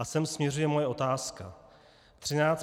A sem směřuje moje otázka.